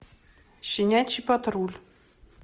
щенячий патруль